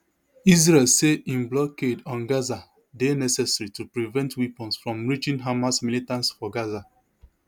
israel say im blockade on gaza dey necessary to prevent weapons from reaching hamas militants for gaza